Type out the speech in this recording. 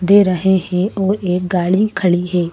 दे रहे हैं और एक गाड़ी खड़ी हैं।